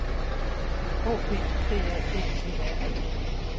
O P D A G E R E